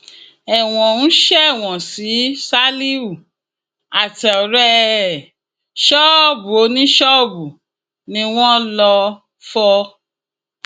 ẹwọn ń ṣèwọ sí ṣálíhù àtọrẹ ẹ ṣọọbù oníṣọọbù ni wọn lọọ fọ